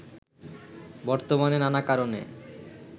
বর্তমানে নানা কারণে